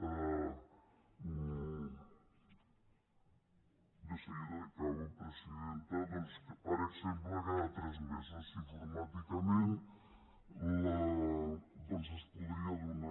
de seguida acabo presidenta per exemple cada tres mesos informàticament es podria donar